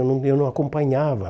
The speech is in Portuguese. Eu não eu não acompanhava.